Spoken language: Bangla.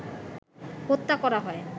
হত্যা করা হয়